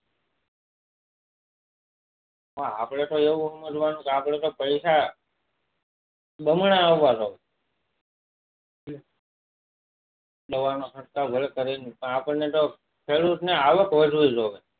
હા આપડે કોઈ એવું સમજવાનું કે આપડે તો પૈસ બમણા ઉભા થા દવા ના ખર્ચા ભલે કરીએ પણ આપડા ખેડૂત ને આવક વધવી જોઈએ